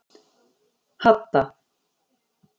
Hadda